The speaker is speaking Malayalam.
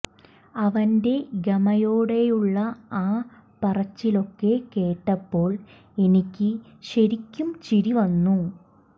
അവൻ്റെ ഗമയോടെയുള്ള ആ പറച്ചിലൊക്കെ കേട്ടപ്പോൾ എനിക്ക് ശരിക്കും ചിരി വന്നു